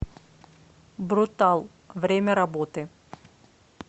брутал время работы